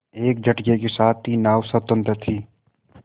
एक झटके के साथ ही नाव स्वतंत्र थी